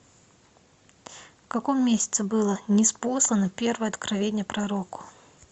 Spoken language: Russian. в каком месяце было ниспослано первое откровение пророку